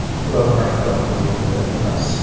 Ular maktab hududida emas.